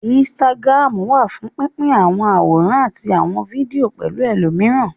Instagram wà fún pín pín àwọn àwòrán àti àwọn fídíò pẹ̀lú ẹlòmíràn